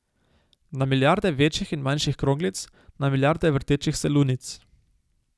Na milijarde večjih in manjših kroglic, na milijarde vrtečih se lunic.